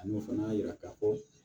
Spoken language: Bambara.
Ani o fana y'a yira k'a fɔ